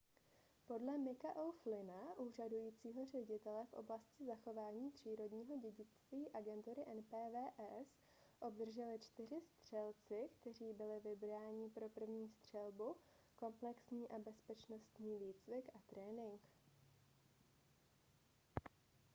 podle micka o'flynna úřadujícího ředitele v oblasti zachování přírodního dědictví agentury npws obdrželi čtyři střelci kteří byli vybrání pro první střelbu komplexní bezpečnostní výcvik a trénink